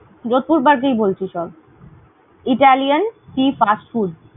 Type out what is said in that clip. Jodhpur Park এই বলছি সব। italian fast food ।